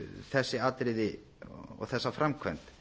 þessi atriði og þessa framkvæmd